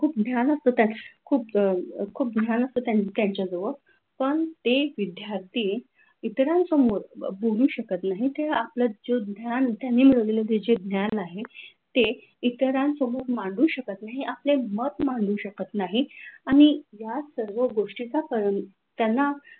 त्यांना इतरांसमोर बोलू शकत नाही ते आपलेच आहे जो ज्ञान आहेत ते इतरांन समोर मांडू शकत नाही आपले मत मांडू शकत नाही आणि या सर्व गोष्टीचा त्यांना,